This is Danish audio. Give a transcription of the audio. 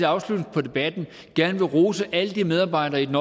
afslutning på debatten rose alle de medarbejdere i den